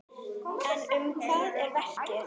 En um hvað er verkið?